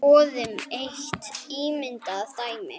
Skoðum eitt ímyndað dæmi.